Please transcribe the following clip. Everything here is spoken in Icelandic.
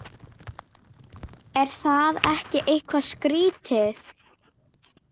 Er það ekki eitthvað skrítið?